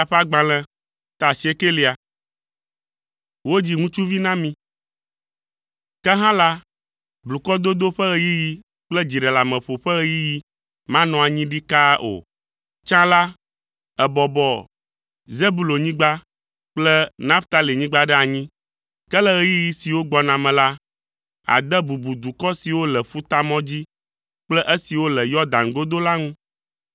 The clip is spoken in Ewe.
Ke hã la, blukɔdodo ƒe ɣeyiɣi kple dziɖeleameƒo ƒe ɣeyiɣi manɔ anyi ɖikaa o. Tsã la, èbɔbɔ Zebulonyigba kple Naftalinyigba ɖe anyi. Ke le ɣeyiɣi siwo gbɔna me la, ade bubu dukɔ siwo le Ƒutamɔ dzi kple esiwo le Yɔdan godo la ŋu.